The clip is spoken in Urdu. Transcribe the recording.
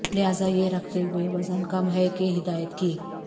لہذا یہ رکھتے ہوئے وزن کم ہے کہ ہدایت کی